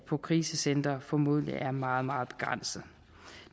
på krisecenter formodentlig er meget meget begrænset